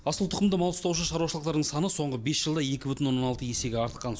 асыл тұқымды мал ұстаушы шаруашылықтардың саны соңғы бес жылда екі бүтін оннан алты есеге артқан